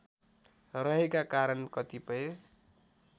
रहेका कारण कतिपय